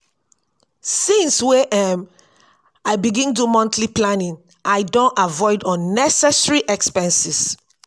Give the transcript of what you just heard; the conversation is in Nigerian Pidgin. since wey um i begin do monthly planning i don avoid unnecessary expenses.